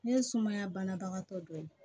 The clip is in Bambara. Ne ye sumaya banabagatɔ dɔ ye